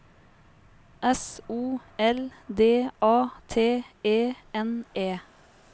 S O L D A T E N E